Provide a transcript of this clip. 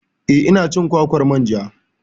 Eh ina cin kwakwar manja